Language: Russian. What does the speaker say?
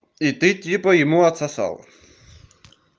и ты типа ему отсосала